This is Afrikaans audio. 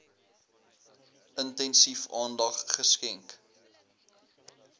intensief aandag geskenk